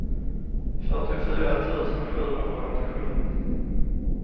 fyrtiofyra tusen sjuhundraåttiosju